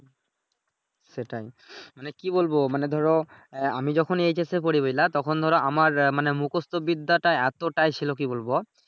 সেটাই মানি কি বলবো মানে ধরো আমি যখন HS পড়ি বুঝলা তখন ধরো আমার মানে মুখস্ত বিদ্যাটা এতোটাই ছিলো কি বলবো